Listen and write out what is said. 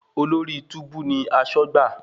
Olórí túbú ní aṣọ́gbà.